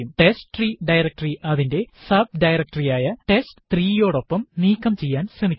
ടെസ്റ്റ്രീ directory അതിന്റെ subdirectory ആയ ടെസ്റ്റ്3 യോടൊപ്പം നീക്കം ചെയ്യാൻ ശ്രമിക്കുക